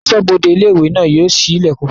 Asọ́bodè ilé-ìwé náà yóò ṣí ilẹ̀kùn náà fún àwọn àlejò